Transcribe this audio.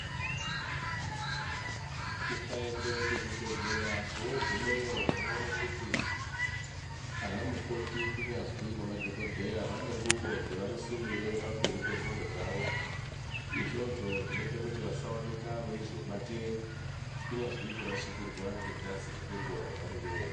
Ukaende kuzvibhedhlera vogumeyo unoone kuti anamukoti kunyazwi nemadhogodheya vane ngubo dzavanosimire pamberi pengubo dzavo. Izvozvo zvinoite kuti vasaoneka veizobatire kunyazwi kurasikirwa ngengazi ngenguva yavanenge veirapwa.